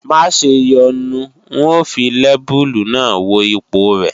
Maṣe yọnu n ó fi lẹ́bùlù náà wo ipọ̀ rẹ̀